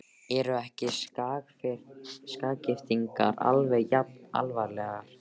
Eru ekki sakargiftirnar alveg jafn alvarlegar?